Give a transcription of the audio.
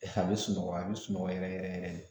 A bɛ sunɔgɔ a bɛ sunɔgɔ yɛrɛ yɛrɛ yɛrɛ de